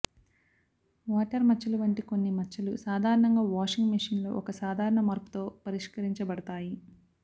water మచ్చలు వంటి కొన్ని మచ్చలు సాధారణంగా వాషింగ్ మెషీన్లో ఒక సాధారణ మార్పుతో పరిష్కరించబడతాయి